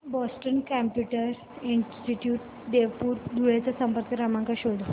Boston computer institute Deopur Dhule चा संपर्क क्रमांक शोध